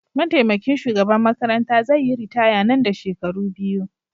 Mataimakin shugaban makaranta zai yi ritaya Nan da shekaru biyu